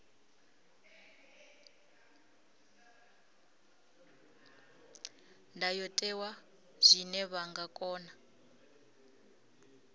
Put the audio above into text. ndayotewa zwine vha nga kona